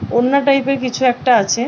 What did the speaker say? ওড়না টাইপ -এর কিছু একটা আছে ।